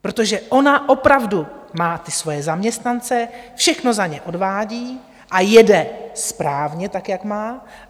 Protože ona opravdu má ty svoje zaměstnance, všechno za ně odvádí a jede správně tak, jak má.